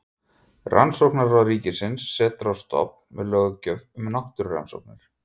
Rannsóknaráð ríkisins sett á stofn með löggjöf um náttúrurannsóknir.